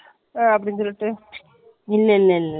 அது இல்ல நான்தான் சொல்லுறேன் இல்ல.